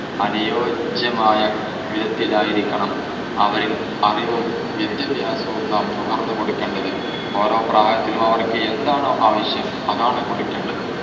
അനുയോജ്യമായ വിധത്തിലായിരിക്കണം അവരിൽ അറിവും വിദ്യാഭ്യാസവും നാം നുകർന്നു കൊടുക്കേണ്ടത്. ഓരോ പ്രായത്തിലും അവർക്ക് എന്താണോ ആവശ്യം അതാണ് കൊടുക്കേണ്ടത്.